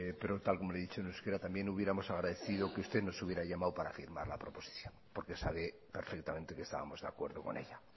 pero tal y como se lo he dicho en euskera también hubiéramos agradecido que usted nos hubiera llamado para firmar la proposición porque sabe perfectamente que estábamos de acuerdo con ella